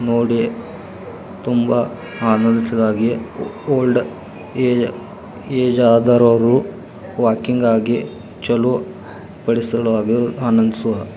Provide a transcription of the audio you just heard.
ನೋಡೀ ತುಂಬಾ ಆನಂದಿಸುವುದಕ್ಕಾಗಿ old age ಆದವರು ವಾಕಿಂಗ್ ಆಗಿ --